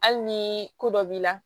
Hali ni ko dɔ b'i la